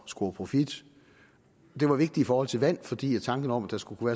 score profit det var vigtigt i forhold til vand fordi tanken om at der skulle